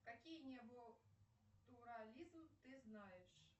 какие неботурализм ты знаешь